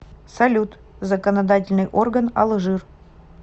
салют законодательный орган алжир